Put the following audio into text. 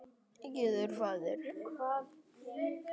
Gjár eru fáar.